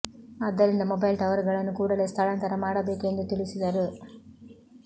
ಆದ್ದರಿಂದ mobile tower ಗಳನ್ನು ಕೂಡಲೇ ಸ್ಥಳಾಂತರ ಮಾಡಬೇಕು ಎಂದು ತಿಳಿಸಿದರು